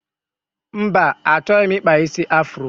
Mba, achọghị m ịkpa isi afuro.